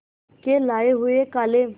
के लाए हुए काले